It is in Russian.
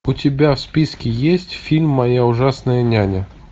у тебя в списке есть фильм моя ужасная няня